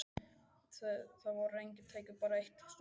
Þar voru engin tæki, bara eitt stórt hús.